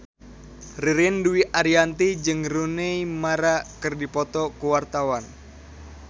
Ririn Dwi Ariyanti jeung Rooney Mara keur dipoto ku wartawan